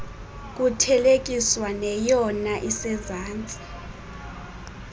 kuthelekiswa neyona isezantsi